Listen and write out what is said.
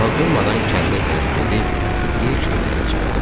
Daha durmadan kəndə tərəf gedib ilk evlərə çatdıq.